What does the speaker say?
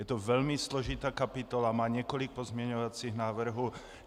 Je to velmi složitá kapitola, má několik pozměňovacích návrhů.